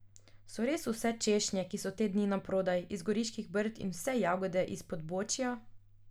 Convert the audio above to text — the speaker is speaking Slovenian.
So res vse češnje, ki so te dni naprodaj, iz Goriških brd in vse jagode iz Podbočja?